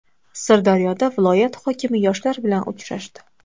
Sirdaryoda viloyat hokimi yoshlar bilan uchrashdi.